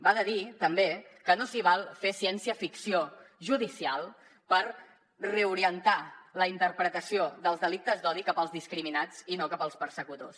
va de dir també que no s’hi val fer ciència ficció judicial per reorientar la interpretació dels delictes d’odi cap als discriminats i no cap als persecutors